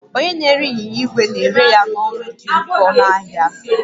Onye na-ere ịnyịnya igwe na-ere ya n'ọnụ dị oke ọnụ ahịa